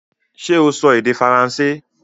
Ṣé o sọ èdè Faransé?